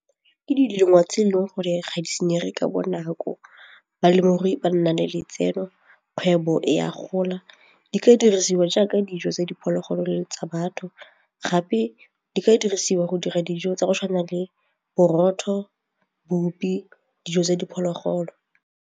Ke dilemo tse e leng gore ga di senyege ka bonako, balemirui ba nna le letseno, kgwebo e a gola di ka dirisiwa jaaka dijo tsa diphologolo le tsa batho gape di ka dirisiwa go dira dijo tsa go tshwana le borotho, bupi, dijo tsa diphologolo.